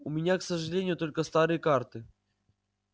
у меня к сожалению только старые карты